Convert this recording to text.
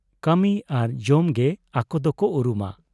ᱠᱟᱹᱢᱤ ᱟᱨ ᱡᱚᱢ ᱜᱮ ᱟᱠᱚ ᱫᱚᱠᱚ ᱩᱨᱩᱢᱟ ᱾